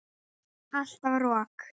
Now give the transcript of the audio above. Alltaf rok.